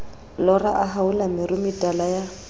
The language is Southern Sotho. lora a haola meruemetala ya